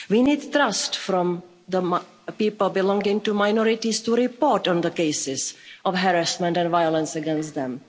We need trust from the people belonging to minorities to report on the cases of harassment and violence against them.